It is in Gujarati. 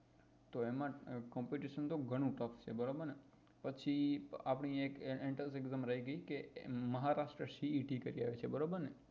તો એમાં competition તો ગણું tuff છે બરોબર ને પછી આપડી એક entrance exam રહી ગઈ કે મહારાષ્ટ્ર બરોબર ને